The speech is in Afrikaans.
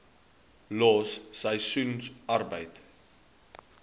los seisoensarbeid